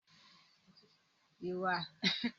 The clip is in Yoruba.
Ìwà-ipá abẹ́lẹ́ kò le dopin, kò sí bí ìjìyà rẹ̀ ṣe le burú tó